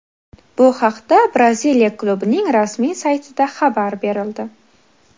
Bu haqda Braziliya klubining rasmiy saytida xabar berildi .